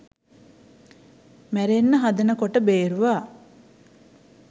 මැරෙන්න හදන කොට බේරුවා.